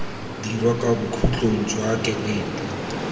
dira kwa bokhutlong jwa kereiti